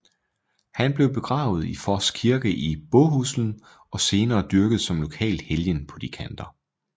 Han blev begravet i Foss kirke i Båhuslen og senere dyrket som lokal helgen på de kanter